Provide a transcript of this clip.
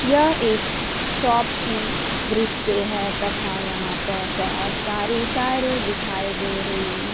यह एक शॉप की दृश्य है तथा यहां पर बहोत सारी टायरें दिखाई दे रही हैं।